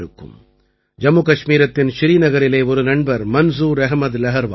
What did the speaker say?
ஜம்முகஷ்மீரத்தின் ஸ்ரீநகரிலே ஒரு நண்பர் மன்சூர் அஹமத் லஹர்வால்